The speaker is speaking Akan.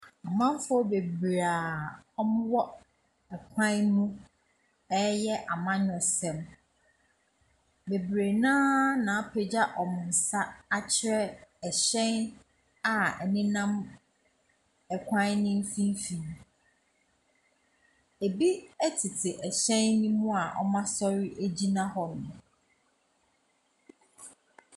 Amanfoɔ bebree a wɔwɔ kwan mu reyɛ amanyɔsɛm. Bebree no ara na apagya wɔn nsa akyerɛ hyɛn a ɛnenamkwan no mfimfini. Bi tete hyɛn no mu a wɔasɔre agyina hɔnom.